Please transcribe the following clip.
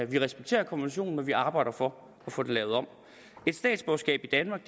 vi respekterer konventionen men vi arbejder for at få det lavet om et statsborgerskab i danmark